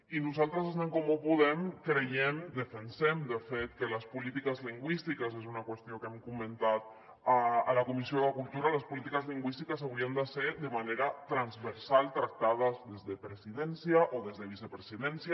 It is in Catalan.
i nosaltres des d’en comú podem creiem defensem de fet que les polítiques lingüístiques és una qüestió que hem comentat a la comissió de cultura haurien de ser de manera transversal tractades des de presidència o des de vicepresidència